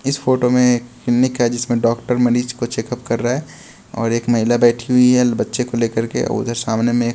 इस फोटो में एक क्लिनिक है जिसमें डॉक्टर मरीज को चेक-अप कर रहा है और एक महिला बैठी हुई है बच्चे को लेकर के और उधर सामने में --